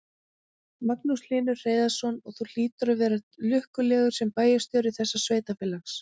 Magnús Hlynur Hreiðarsson: Og þú hlýtur að vera lukkulegur sem bæjarstjóri þessa sveitarfélags?